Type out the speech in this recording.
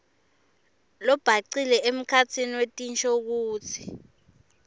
lobhacile emkhatsini wetinshokutsi